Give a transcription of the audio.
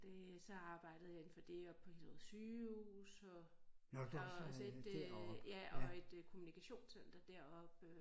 Det så arbejdede jeg inde for det oppe på Hillerød Sygehus og og så et øh ja og et kommunikationscenter deroppe